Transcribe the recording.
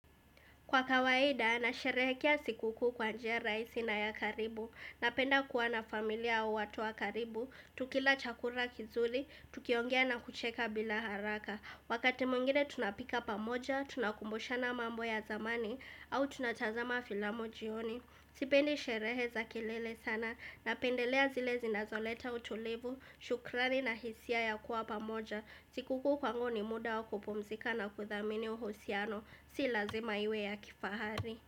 Kwa kawaida, nasherehekea sikukuu kwa njia raisi na ya karibu, napenda kuwa na familia au watu wa karibu, tukila chakura kizuli, tukiongea na kucheka bila haraka. Wakati muingine tunapika pamoja, tunakumbushana mambo ya zamani, au tunatazama filamu jioni. Sipendi sherehe za kelele sana, napendelea zile zinazoleta utulivu, shukrani na hisia ya kuwa pamoja. Sikukuu kwangu ni muda wa kupumzika na kuthamini uhusiano Si lazima iwe ya kifahari.